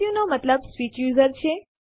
સુ નો મતલબ સ્વિચ યુઝર છે